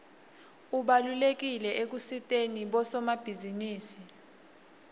ubalulekile ekusiteni bosomabhizinisi